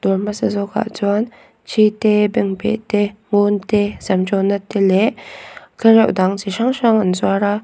dawr hmasa zawkah chuan thi te bengbeh te ngun te sam tawnna te leh tlereuh dang chi hrang hrang an zuar a.